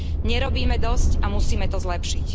Nerobíme dosť a musíme to zlepšiť.